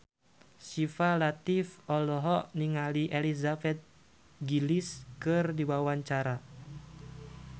Syifa Latief olohok ningali Elizabeth Gillies keur diwawancara